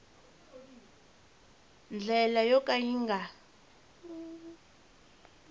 ndlela yo ka yi nga